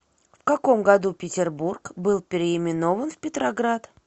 в каком году петербург был переименован в петроград